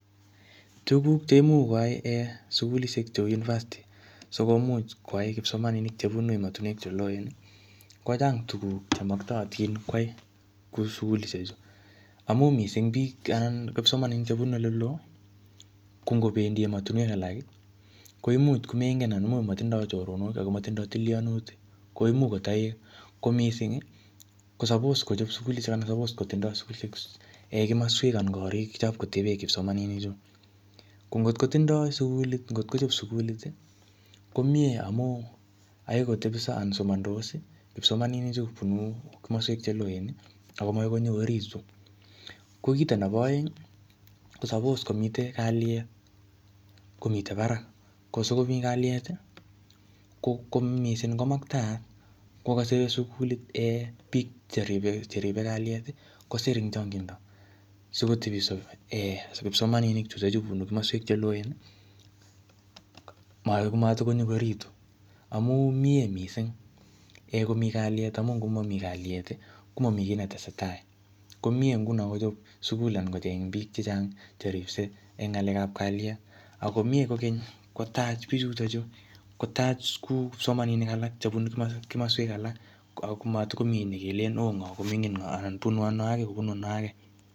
Tuguk cheimuch koaei um sukulishek chebo university, sikomuch koai kipsomaninik chebunu ematunwek che loen, kochang tuguk che maktaatin kwai kou sukulishek chu. Amu missing biik anan kipsomaninik chebunu ole loo. Ko ngobendi ematunwek alak, koimuch komengen anan imuch matindoi choronok ako matindoi tilianutik. Ko imuch kotai ko missing, ko suppose kochop sukulishek anan suppose kotindoi sukulishek um kimaswek anan korik chapkobe kipsomaninik chut. Ko ngotkotinodi sukulit, ngotkochop sukulit, ko miee amu akoi kotepso anan somandos kipsomaninik chu bunu komaswek che loen ako makoi konyo orit. Ko kito nebo aeng, ko suppose komite kalyet, komite barak. Ko sikomii kalyet, ko missing komaktaak kokase sukulit um biik cheribe kalyet, kosir ing changindo sikotepso um kipsomaninik chutochu bunu kimaswek che loen, matikonyokoritu. Amu mie missing komii klyet amu ngomammi kalyet, komami kiy netesetai. Ko miee nguno kochop sukul anan kocheng biik chechang che ripsei eng ng'alekap kalyet. Ako miee kokeny kotach bichutochu, kotach kuu kipsomaninik alak chebunu kima-kimaswek alak. Ako mayikomi ne tikelen oo ngoo ko mining ngoo anan bunu ano age kobunu ano age.